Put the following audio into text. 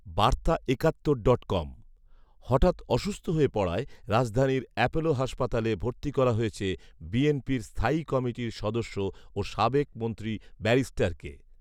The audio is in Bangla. বার্তা একাত্তর ডট কম, হঠাৎ অসুস্থ হয়ে পড়ায় রাজধানীর অ্যাপোলো হাসপাতালে ভর্তি করা হয়েছে বিএনপির স্থায়ী কমিটির সদস্য ও সাবেক মন্ত্রী ব্যারিস্টারকে